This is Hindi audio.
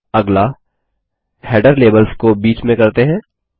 अगला हेडर लेबल्स को बीच में करते हैं